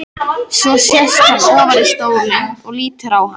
Svo sest hann ofar í stólinn og lítur á hana.